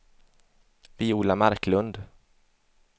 Viola Marklund